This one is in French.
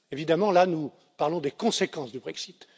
Évidemment, là nous parlons des conséquences du Brexit.